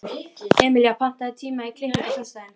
Emelía, pantaðu tíma í klippingu á föstudaginn.